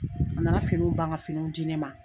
A nana finiw ban ka finiw di ne ma.